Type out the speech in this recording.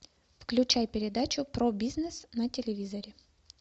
включай передачу про бизнес на телевизоре